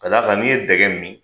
Ka d'a kan n'i ye dɛgɛ min.